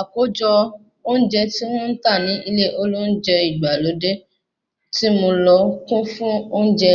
Àkójọ oúnjẹ tí wọ́n ń tà ni ilé olóúnjẹ ìgbàlódé tí mo lọ kún fún oúnjẹ